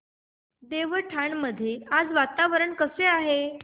देवठाण मध्ये आज वातावरण कसे आहे